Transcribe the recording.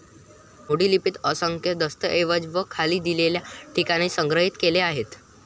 मोडी लिपीत असंख्य दस्तऐवज हे खाली दिलेल्या ठिकाणी संग्रहित केले आहेत.